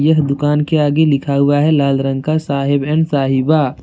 यह दुकान के आगे लिखा हुआ है लाल रंग का साहेब एंड साहिबा।